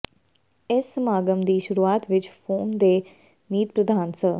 ਇਸ ਸਮਾਗਮ ਦੀ ਸ਼ੁਰੂਆਤ ਵਿੱਚ ਫੋਰਮ ਦੇ ਮੀਤ ਪ੍ਰਧਾਨ ਸ